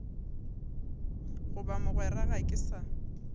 goba mogwera ga ke sa